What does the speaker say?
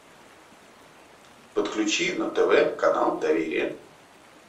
подключи на тв канал доверие